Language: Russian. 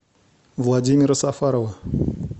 владимира сафарова